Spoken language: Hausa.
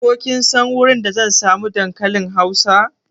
Ko kin san wurin da zan samu dankalin hausa?